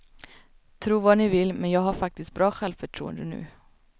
Tro vad ni vill, men jag har faktiskt bra självförtroende nu.